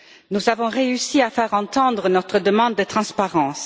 Nous avons réussi à faire entendre notre demande de transparence.